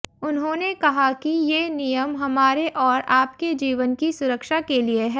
उन्होंने कहा कि ये नियम हमारे और आपके जीवन की सुरक्षा के लिए है